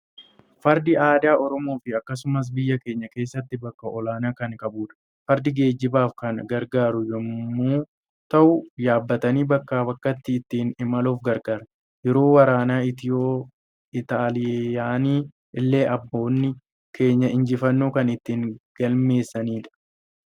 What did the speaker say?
Fardi aadaa Oromoo fi akkasumas biyya keenya keessatti bakka olaanaa kan qabudha. Fardi geejibaaf kan gargaaru yommuu ta'u yaabbatanii bakkaa bakkatti ittiin imaluuf gargaara. Yeroo waraana Itiyoo-Xaayilaanii illee abboonni keenya injifannoo kan ittiin galmeessanidha.